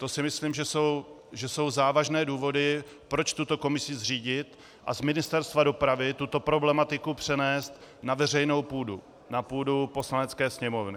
To si myslím, že jsou závažné důvody, proč tuto komisi zřídit a z Ministerstva dopravy tuto problematiku přenést na veřejnou půdu, na půdu Poslanecké sněmovny.